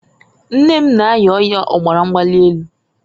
Nne m na- aya ọya ọbara mgbalị enu.